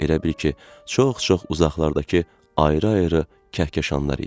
Elə bil ki, çox-çox uzaqlardakı ayrı-ayrı kəhkəşanlar idi.